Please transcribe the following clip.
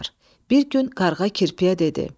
Bir gün qarğa kirpiyə dedi: